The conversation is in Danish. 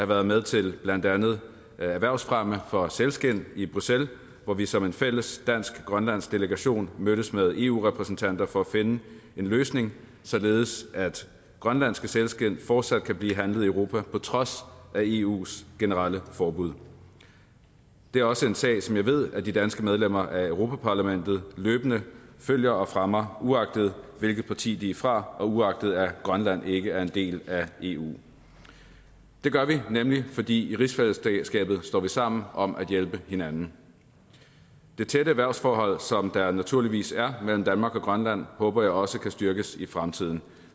været med til blandt andet erhvervsfremme for sælskind i bruxelles hvor vi som en fælles dansk grønlandsk delegation mødtes med eu repræsentanter for at finde en løsning således at grønlandske sælskind fortsat kan blive handlet i europa på trods af eus generelle forbud det er også en sag som jeg ved at de danske medlemmer af europa parlamentet løbende følger og fremmer uagtet hvilket parti de er fra og uagtet at grønland ikke er en del af eu det gør vi nemlig fordi vi i rigsfællesskabet står sammen om at hjælpe hinanden det tætte erhvervsforhold som der naturligvis er mellem danmark og grønland håber jeg også kan styrkes i fremtiden